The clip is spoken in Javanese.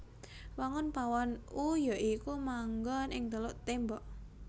Wangun pawon U ya iku mangon ing telung témbok